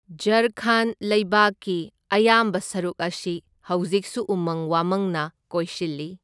ꯓꯥꯔꯈꯟꯗ ꯂꯩꯕꯥꯛꯒꯤ ꯑꯌꯥꯝꯕ ꯁꯔꯨꯛ ꯑꯁꯤ ꯍꯧꯖꯤꯛꯁꯨ ꯎꯃꯪ ꯋꯥꯃꯪꯅ ꯀꯣꯏꯁꯤꯜꯂꯤ꯫